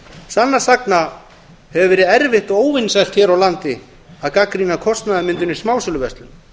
sannast sagna hefur verið erfitt og óvinsælt hér á landi að gagnrýna kostnaðarmyndun í smásöluverslun